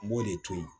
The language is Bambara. N b'o de to yen